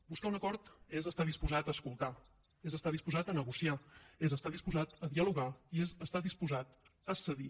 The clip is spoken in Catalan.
buscar un acord és estar disposat a escoltar és estar disposat a negociar és estar disposat a dialogar i és estar disposat a cedir